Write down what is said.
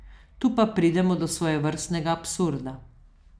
Tu pa pridemo do svojevrstnega absurda.